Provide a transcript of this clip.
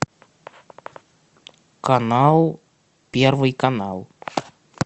канал первый канал